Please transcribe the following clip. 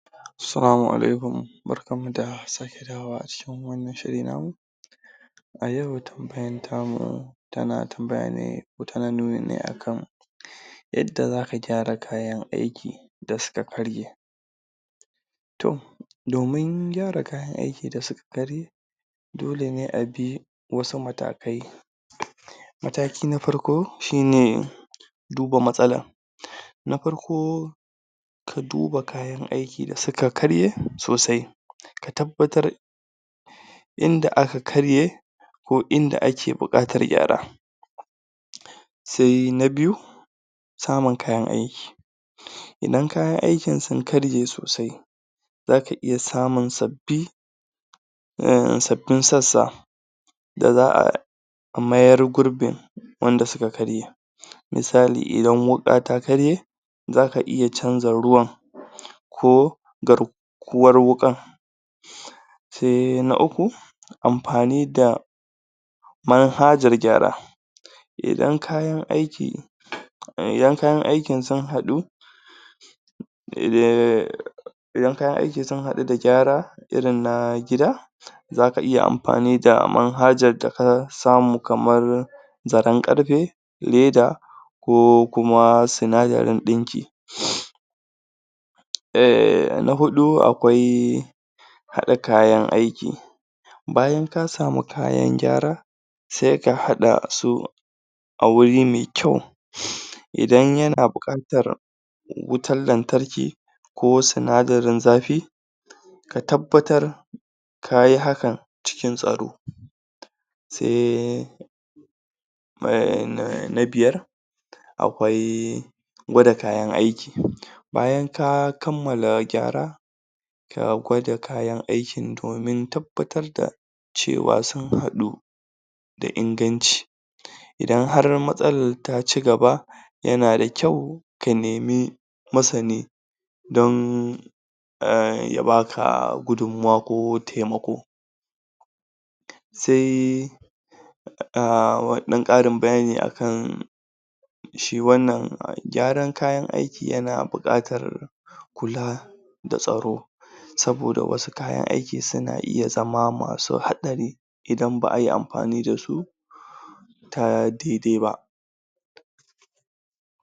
Assalamu Alaikum barkanmu da sake dawowa a cikin wannan shiri namu ayau tambayan namu tana nuni ne akan yanda zaka gyara kayan aiki da suka karye toh domin gyara kayan aiki da suka karye dolene abi wasu matakai mataki na farko shine duba matssalan na farko ka duba kayan aiki da suka karye Sosai ka tabbatar inda aka karye ko inda ake bukatar gyara sai na biyu samun kayan aiki Idan kayan aikin sun karye Sosai zaka iya samun sabbi sabbin sassa da za'a mayar gurbin wanda suka karye misali Idan wuka ta karye zaka iya canza ruwan ko gar kuwar wukan sai na uku amfani da manhajar gyara idan kayan aiki idan kayan aikin sun hadu, Idan kayan aiki sunhada da gyara irin na Gida zaka iya anfani da manhajar da ka samu kamar zaren karfe leda ko kuma sinadaran dinki na hudu akwai haɗa kayan aiki bayan ka samu kayan gyara sai ka haɗasu a wuri mai kyau Idan yana buƙatar wutar lantarki ko sinadarin zafi ka tabbatar ka yi hakan cikin tsaro sai na biyar akwai gwada kayan aiki bayan ka kammala gyara a gwada kayan aikin cewa sunhaɗu da inganci Idan Har matsalan ta cigaba yanada kyau ka nemi masani don ya baka gudunmuwa ko taimako sai dan karin bayani akan shi wannan gyaran kayan aiki yana buƙatar kula da tsaro saboda wasu kayan aiki suna iya zama masu haɗari Idan baʼayi anfani dasu ta daidai ba